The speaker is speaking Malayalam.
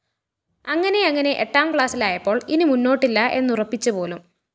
അങ്ങനെയങ്ങനെ എട്ടാം ക്ലാസ്സിലായപ്പോള്‍ ഇനി മുന്നോട്ടില്ല എന്നുറപ്പിച്ചുപോലും